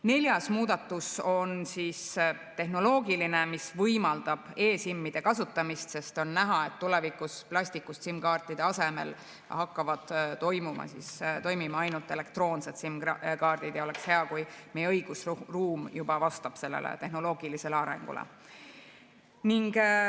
Neljas muudatus on tehnoloogiline, mis võimaldab e‑SIM‑ide kasutamist, sest on näha, et tulevikus hakkavad plastikust SIM‑kaartide asemel toimima ainult elektroonsed SIM‑kaardid ja oleks hea, kui meie õigusruum juba vastaks sellele tehnoloogilisele arengule.